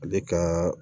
Ale ka